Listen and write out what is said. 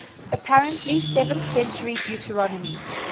apparently seventh century deuteronomy